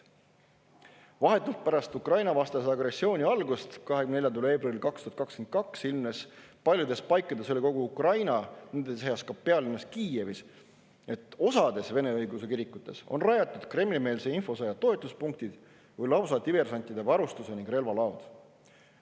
Vahetult pärast Ukraina-vastase agressiooni algust 24. veebruaril 2022 ilmnes paljudes paikades üle kogu Ukraina, nende seas ka pealinnas Kiievis, et osas Vene õigeusu kirikutes olid rajatud Kremli-meelse infosõja toetuspunktid või lausa diversantide varustuse ning relvade laod.